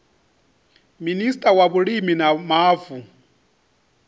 minista wa vhulimi na mavu